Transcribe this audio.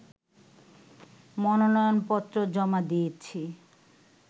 মনোনয়নপত্র জমা দিয়েছি